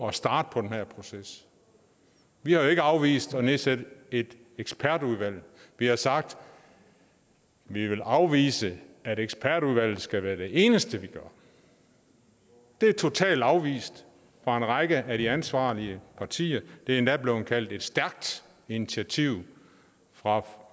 at starte på den her proces vi har jo ikke afvist at nedsætte et ekspertudvalg vi har sagt at vi vil afvise at ekspertudvalget skal være det eneste vi gør det er totalt afvist fra en række af de ansvarlige partier det er endda er blevet kaldt et stærkt initiativ fra